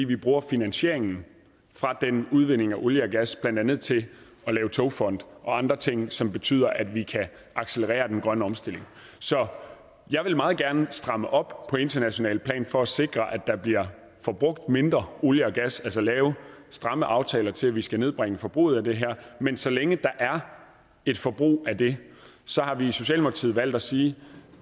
bruger finansieringen fra den udvinding af olie og gas blandt andet til at lave togfond og andre ting som betyder at vi kan accelerere den grønne omstilling så jeg vil meget gerne stramme op på internationalt plan for at sikre at der bliver forbrugt mindre olie og gas altså lave stramme aftaler til at vi skal nedbringe forbruget af det her men så længe der er et forbrug af det har vi i socialdemokratiet valgt at sige